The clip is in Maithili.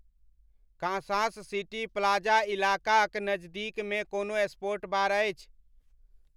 कांसास सिटी प्लाजा इलाका क नज़दीक म कोनो स्पोर्ट बार अछि